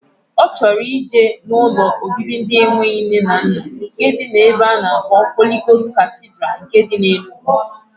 O choro ije na ụlọ obibi ndi enwero nne na nna nke di na ebe ana akpo Holy Ghost Cathedral nke di na Enugu.